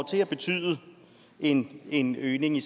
til at betyde en en øgning i